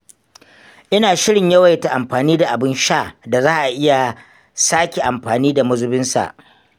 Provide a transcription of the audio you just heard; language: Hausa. Ina shirin yawaita amfani da abin sha da za a iya sake amfani da mazubinsa.